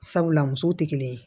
Sabula musow tɛ kelen ye